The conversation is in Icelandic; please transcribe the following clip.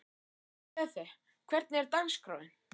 Grethe, hvernig er dagskráin?